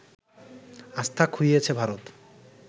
আস্থা খুইয়েছে ভারত